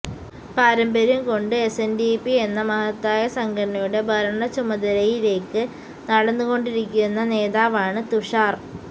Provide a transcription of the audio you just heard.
പാരമ്പര്യം കൊണ്ട് എസ്എൻഡിപി എന്ന മഹത്തായ സംഘടനയുടെ ഭരണ ചുമതലയിലേക്ക് നടന്നു കൊണ്ടിരിക്കുന്ന നേതാവാണ് തുഷാർ